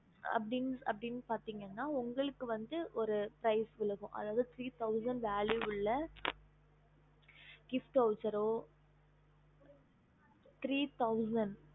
அப்டினு பாத்தீங்கன்னா உங்களுக்கு ஒரு prize விழுங்கும் அதாவது three thousand velvuw உள்ள gift vowcher